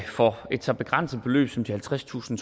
for et så begrænset beløb som de halvtredstusind